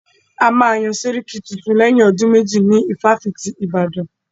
A máa yán sẹ́ríkí tuntun lẹ́yìn ọdún méjì ní ifáfitì ti Ìbàdàn.